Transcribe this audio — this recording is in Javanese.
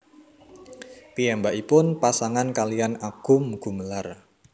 Piyambakipun pasangan kaliyan Agum Gumelar